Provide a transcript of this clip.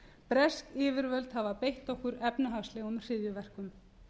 bresk yfirvöld hafa beitt okkur efnahagslegum hryðjuverkum